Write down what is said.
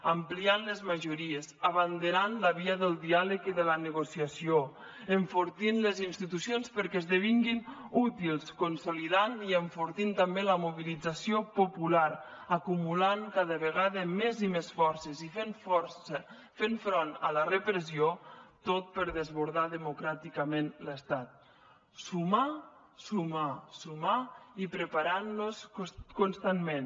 ampliant les majories abanderant la via del diàleg i de la negociació enfortint les institucions perquè esdevinguin útils consolidant i enfortint també la mobilització popular acumulant cada vegada més i més forces i fent front a la repressió tot per desbordar democràticament l’estat sumar sumar sumar i preparant nos constantment